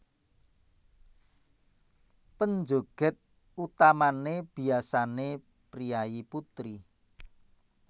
Penjoget utamané biasané priyayi putri